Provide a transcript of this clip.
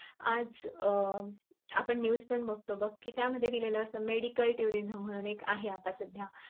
आज अं आपण news पण बगतो बग कि त्यामध्ये दिलेले असत medical turinum म्हणून एक आहे आत्ता सध्या